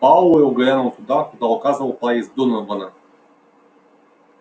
пауэлл глянул туда куда указывал палец донована